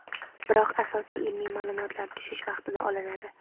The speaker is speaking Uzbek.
biroq asosiy ilmiy ma’lumotlar tushish vaqtida olinadi.